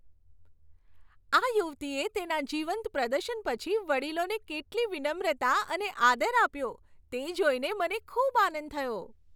આ યુવતીએ તેના જીવંત પ્રદર્શન પછી વડીલોને કેટલી વિનમ્રતા અને આદર આપ્યો, તે જોઈને મને ખૂબ આનંદ થયો.